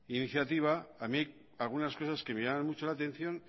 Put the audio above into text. iniciativa a mí hay algunas cosas que me llaman mucho la atención